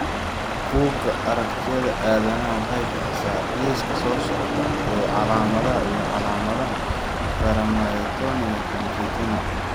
Bugga Aragtiyaha Aanadanaha waxay bixisaa liiska soo socda ee calaamadaha iyo calaamadaha Paramyotonia congenita.